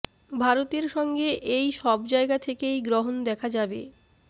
ভারতের সঙ্গে এই সব জায়গা থেকেই গ্রহণ দেখা যাবে